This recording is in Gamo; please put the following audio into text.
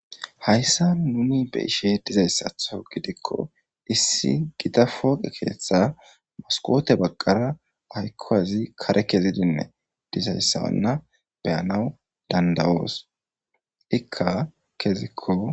hayssa nuni be'ishe dizayssatho gidikko issi gita fooqe keeththe moskote baqqara aykkowazi kare kezidinne dizayssawanna beyanaw dandawoos ikka kezikko